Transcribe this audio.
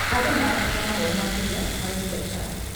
Andũ marabataraga mathomo makĩria harĩ biacara.